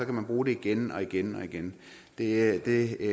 man bruge det igen og igen og igen det det